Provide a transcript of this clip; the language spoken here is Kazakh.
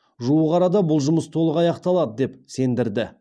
жуық арада бұл жұмыс толық аяқталады деп сендірді